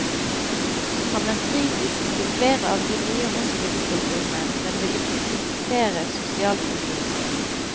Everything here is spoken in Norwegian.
Han er kritisk til flere av de nye hospitstilbudene, men vil ikke kritisere sosialkontorene.